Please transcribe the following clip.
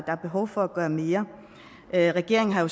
er behov for at gøre mere regeringen har jo